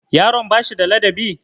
Yaron ba shi da ladabi?